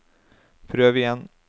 prøv igjen